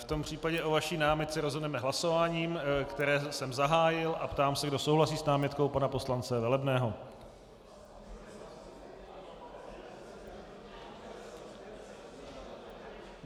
V tom případě o vaší námitce rozhodneme hlasováním, které jsem zahájil, a ptám se, kdo souhlasí s námitkou pana poslance Velebného.